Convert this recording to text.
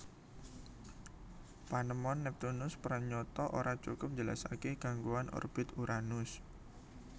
Panemon Neptunus pranyata ora cukup njelasaké gangguan orbit Uranus